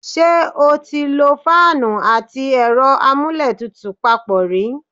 Ṣé o ti lo fáánù àti ẹ̀rọ amúlétutù papọ̀ rí?